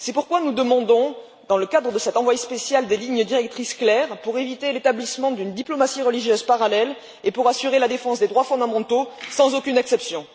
C'est pourquoi nous demandons, dans le cadre de cet envoyé spécial, des lignes directrices claires pour éviter l'établissement d'une diplomatie religieuse parallèle et pour assurer la défense des droits fondamentaux sans aucune exception.